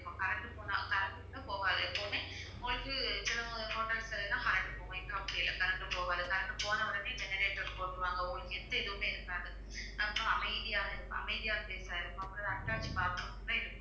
current போனா current கூட போகாது எப்பவுமே போயிட்டு சில hotels ல எல்லாம் current போகும் இங்க அப்படில்ல current போகாது current போனவுடனே generator போட்டுடுவாங்க உங்களுக்கு எந்த இதுவுமே இருக்காது அப்புறம் அமைதியாக இருக்கும் அமைதியான place ஆ இருக்கும் அப்புறம் attached bathroom கூட இருக்கு